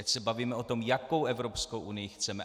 Ať se bavíme o tom, jakou Evropskou unii chceme.